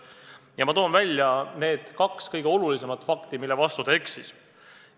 Aga ma toon välja need kaks kõige olulisemat fakti, mille vastu ta eksis.